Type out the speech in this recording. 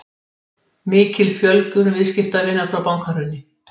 Mikil fjölgun viðskiptavina frá bankahruni